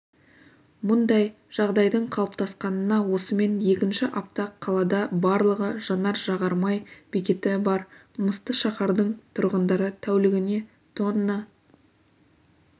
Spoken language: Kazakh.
мұндай жағдайдың қалыптасқанына осымен екінші апта қалада барлығы жанар-жағармай бекеті бар мысты шаһардың тұрғындары тәулігіне тонна